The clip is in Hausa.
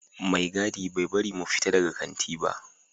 Mai gadi bai bari mu fita daga kanti ba